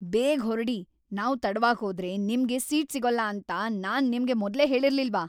ಬೇಗ ಹೊರ್ಡಿ! ನಾವ್ ತಡವಾಗ್ ಹೋದ್ರೆ ನಮ್ಗೆ ಸೀಟ್ ಸಿಗೋಲ್ಲ ಅಂತ ನಾನ್ ನಿಮ್ಗೆ ಮೊದ್ಲೇ ಹೇಳಿರ್ಲಿಲ್ವಾ!